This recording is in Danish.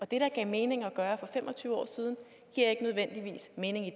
det der gav mening at gøre for fem og tyve år siden giver ikke nødvendigvis mening i